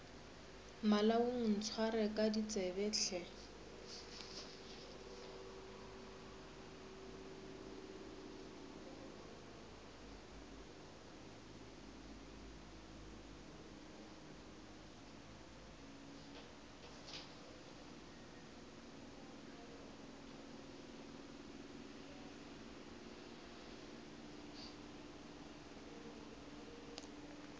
malaong ntshware ka ditsebe hle